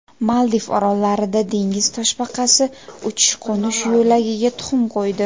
Maldiv orollarida dengiz toshbaqasi uchish-qo‘nish yo‘lagiga tuxum qo‘ydi.